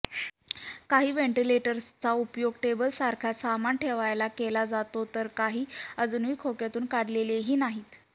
काही व्हेंटिलेटर्सचा उपयोग टेबलासारखा सामान ठेवायला केला जातोय तर काही अजून खोक्यातून काढलेलेही नाहीत